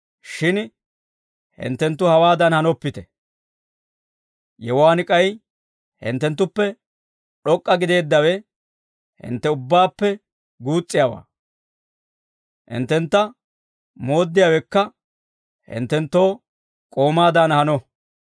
Shin hinttenttu hawaadan hanoppite; yewuwaan k'ay hinttenttuppe d'ok'k'a gideeddawe hintte ubbaappe guus's'iyaawaa; hinttentta mooddiyaawekka, hinttenttoo k'oomaadan hano.